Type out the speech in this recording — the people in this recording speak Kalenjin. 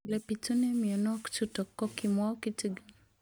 Ole pitune mionwek chutok ko kimwau kitig'�n